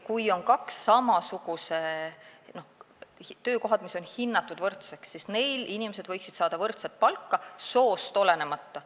Kui on töökohad, mis on hinnatud võrdseks, siis inimesed võiksid saada võrdset palka soost olenemata.